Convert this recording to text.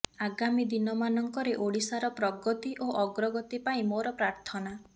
ଆଗାମୀ ଦିନ ମାନଙ୍କରେ ଓଡ଼ିଶାର ପ୍ରଗତି ଓ ଅଗ୍ରଗତି ପାଇଁ ମୋର ପ୍ରାର୍ଥନା